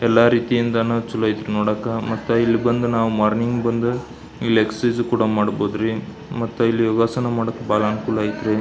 ಎಲ್ಲ ರೀತಿ ಯಿಂದನು ಚುಲೋ ಇತಿ ನೋಡಾಕ ಇಲ್ ಬಂದು ಮಾರ್ನಿಂಗ್ ಬಂದು ವ್ಯಾಯಾಮ ಕೂಡ ಮಾಡಬಹುದು ರೀ ಯೋಗಾಸನ ಕೂಡ ಮಾಡಬಹುದು.